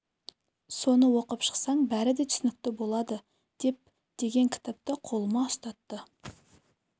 соны оқып шықсаң бәрі де түсінікті болады деп деген кітапты қолыма ұстатты